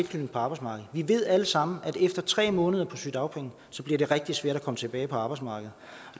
til arbejdsmarkedet vi ved alle sammen at efter tre måneder på sygedagpenge bliver det rigtig svært at komme tilbage på arbejdsmarkedet